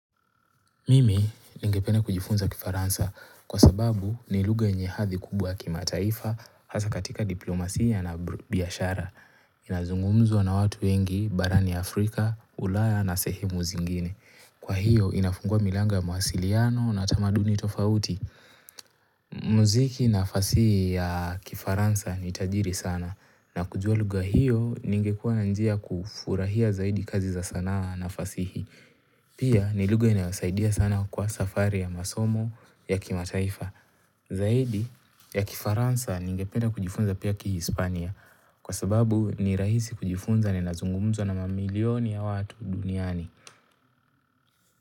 Mimi ningependa kujifunza kifaransa kwa sababu ni lugha yenye hadhi kubwa ya kimataifa hasa katika diplomasia na biashara. Inazungumzwa na watu wengi, barani Afrika, ulaya na sehemu zingine. Kwa hiyo, inafungua milango ya mawasiliano na tamaduni tofauti. Muziki na fasihi ya kifaransa ni tajiri sana na kujua lugha hiyo ningekua na njia kufurahia zaidi kazi za sana na fasihi. Pia ni lugha inayosaidia sana kwa safari ya masomo ya kimataifa Zaidi ya kifaransa ningependa kujifunza pia kihispania Kwa sababu ni rahisi kujifunza na inazungumzwa na mamilioni ya watu duniani.